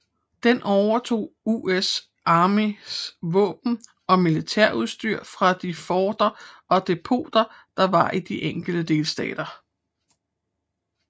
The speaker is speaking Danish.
Den overtog US Armys våben og militærudstyr fra de forter og depoter der var i de enkelte delstater